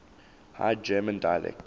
high german dialects